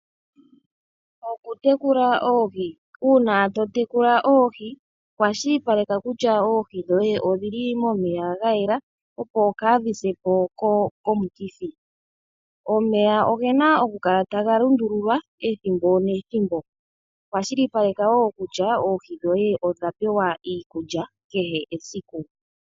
Okutekula oohi, uuna to tekula oohi kwashilipaleka kutya oohi dhoye odhili momeya ga yela, opo kaadhi se po komikithi. Omeya ogena oku kala taga lundululwa ethimbo nethimbo. Kwashilipaleka wo kutya oohi dhoye odha pewa iikulya kehe esiku.